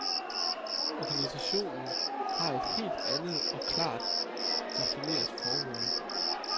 Organisationen har et helt andet og klart defineret formål.